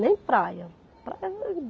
Nem praia. Praia